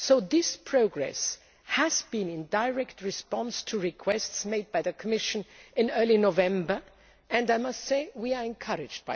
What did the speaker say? This progress has been in direct response to requests made by the Commission in early November and we find it encouraging.